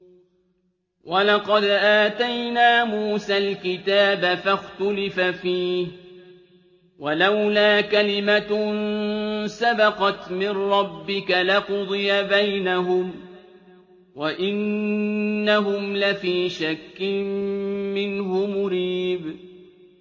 وَلَقَدْ آتَيْنَا مُوسَى الْكِتَابَ فَاخْتُلِفَ فِيهِ ۚ وَلَوْلَا كَلِمَةٌ سَبَقَتْ مِن رَّبِّكَ لَقُضِيَ بَيْنَهُمْ ۚ وَإِنَّهُمْ لَفِي شَكٍّ مِّنْهُ مُرِيبٍ